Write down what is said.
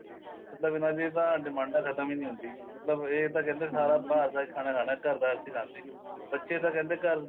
ਮਤਲਬ ਇਹਨਾ ਦੀ ਤਾਂ ਡਿਮਾੰਡਾ ਖਤਮ ਈ ਨਹੀਂ ਹੁੰਦੀ ਮਤਲਬ ਇਹ ਤਾਂ ਕਹਿੰਦੇ ਸਾਰਾ ਬਾਹਰ ਦਾ ਈ ਖਾਣਾ ਖਾਨਾ ਘਰ ਦਾ ਅਸੀਂ ਖਾਂਦੇ ਨੀਂ ਬੱਚੇ ਤਾਂ ਕਹਿੰਦੇ ਘਰ